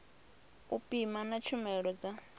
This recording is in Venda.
u pima na tshumelo dza